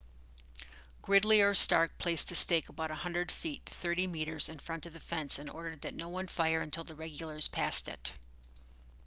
gridley or stark placed a stake about 100 feet 30 m in front of the fence and ordered that no one fire until the regulars passed it